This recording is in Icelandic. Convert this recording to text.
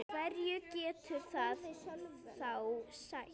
Hverju getur það þá sætt?